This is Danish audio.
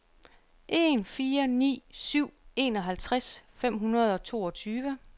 en fire ni syv enoghalvtreds fem hundrede og toogtyve